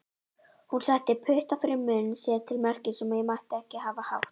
Hún setti putta fyrir munn sér til merkis um að ég mætti ekki hafa hátt.